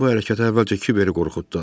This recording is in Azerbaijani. Balığın bu hərəkəti əvvəlcə kiveri qorxutdu.